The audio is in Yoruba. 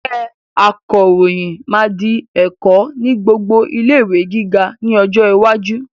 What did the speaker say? Iṣẹ́ akọròyìn máa di ẹ̀kọ́ ni gbogbo ilé-ìwé gíga ni ọjọ́ iwájú